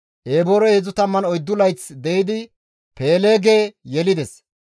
Eboorey heedzdzu tammanne oyddu layth de7idi Peeleege yelides;